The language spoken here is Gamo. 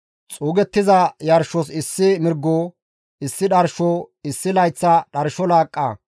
Xuugettiza yarshos issi mirgo; issi dharsho, issi layththa dharsho laaqqa,